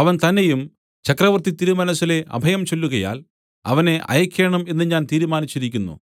അവൻ തന്നെയും ചക്രവർത്തിതിരുമനസ്സിലെ അഭയം ചൊല്ലുകയാൽ അവനെ അയയ്ക്കേണം എന്ന് ഞാൻ തീരുമാനിച്ചിരിക്കുന്നു